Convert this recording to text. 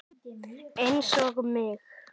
Einsog mig.